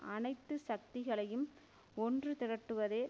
அனைத்து சக்திகளையும் ஒன்று திரட்டுவதே